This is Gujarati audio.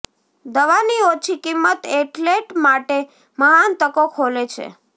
દવાની ઓછી કિંમત એથ્લેટ માટે મહાન તકો ખોલે છે